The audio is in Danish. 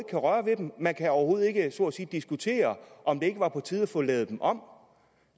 kan røre ved dem man kan overhovedet ikke diskutere om det ikke var på tide at få dem lavet om